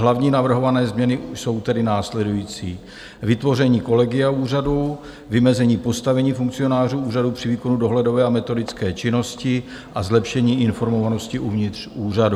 Hlavní navrhované změny jsou tedy následující: vytvoření kolegia úřadu, vymezení postavení funkcionářů úřadu při výkonu dohledové a metodické činnosti a zlepšení informovanosti uvnitř úřadu.